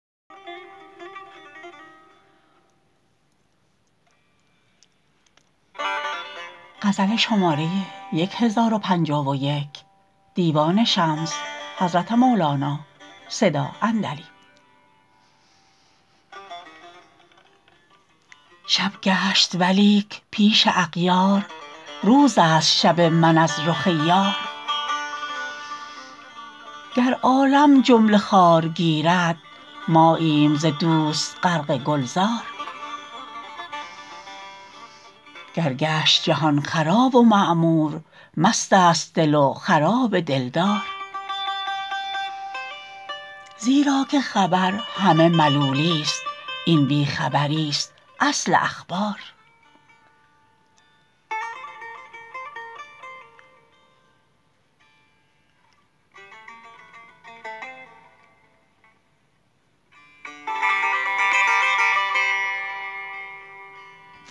شب گشت ولیک پیش اغیار روزست شب من از رخ یار گر عالم جمله خار گیرد ماییم ز دوست غرق گلزار گر گشت جهان خراب و معمور مستست دل و خراب دلدار زیرا که خبر همه ملولیست این بی خبریست اصل اخبار